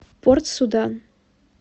порт судан